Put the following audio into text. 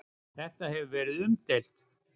Þetta hefur verið umdeilt.